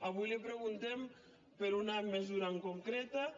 avui li preguntem per una mesura concreta